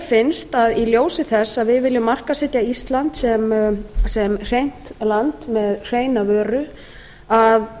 finnst mér í ljósi þess að vil viljum markaðssetja ísland sem hreint land með hreina vöru að